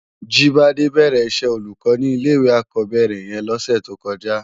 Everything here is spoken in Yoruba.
Jibade bèrè iṣè ólúkò ni ilé iwé ákòbèrè yèn lòsè tókòjá